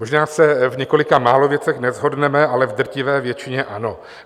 Možná se v několika málo věcech neshodneme, ale v drtivé většině ano.